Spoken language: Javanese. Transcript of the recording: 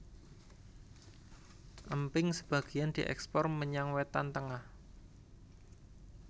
Emping sebagéan diékspor menyang Wétan Tengah